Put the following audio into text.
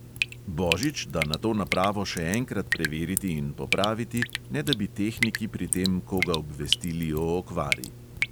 Božič da nato napravo še enkrat preveriti in popraviti, ne da bi tehniki pri tem koga obvestili o okvari.